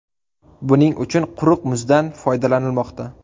Buning uchun quruq muzdan foydalanilmoqda.